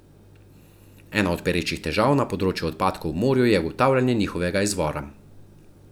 Ena od perečih težav na področju odpadkov v morju je ugotavljanje njihovega izvora.